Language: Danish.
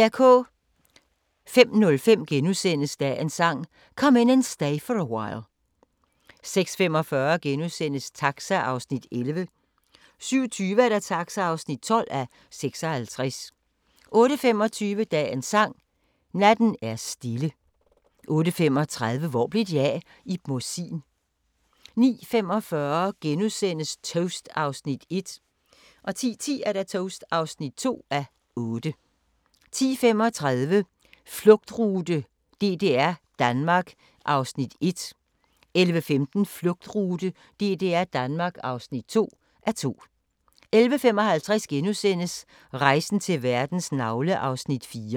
05:05: Dagens Sang: Come In And Stay For A While * 06:45: Taxa (11:56)* 07:20: Taxa (12:56) 08:25: Dagens Sang: Natten er stille 08:35: Hvor blev de af? - Ib Mossin 09:45: Toast (1:8)* 10:10: Toast (2:8) 10:35: Flugtrute: DDR-Danmark (1:2) 11:15: Flugtrute: DDR-Danmark (2:2) 11:55: Rejsen til verdens navle (4:5)*